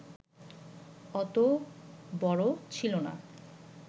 অত বড় ছিলনা